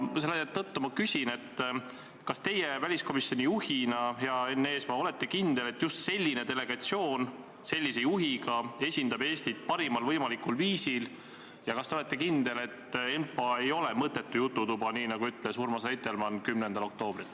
Seetõttu ma küsin, kas teie väliskomisjoni juhina, hea Enn Eesmaa, olete kindel, et just selline delegatsioon sellise juhiga esindab Eestit parimal võimalikul viisil, ja kas te olete kindel, et ENPA ei ole mõttetu jututuba, nii nagu ütles Urmas Reitelmann 10. oktoobril.